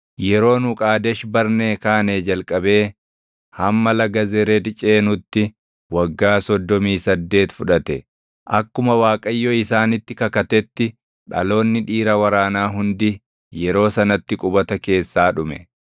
Yeroo nu Qaadesh Barnee kaanee jalqabee hamma laga Zered ceenutti waggaa soddomii saddeet fudhate. Akkuma Waaqayyo isaanitti kakatetti dhaloonni dhiira waraanaa hundi yeroo sanatti qubata keessaa dhume.